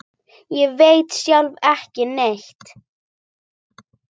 Ég veit sjálf ekki neitt.